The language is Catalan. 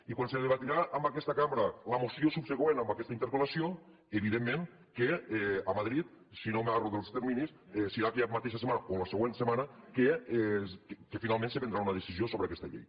i quan se debatrà en aquesta cambra la moció subsegüent a aquesta interpel·lació evidentment que a madrid si no m’erro dels terminis serà aquella mateixa setmana o la següent setmana que finalment se prendrà una decisió sobre aquesta llei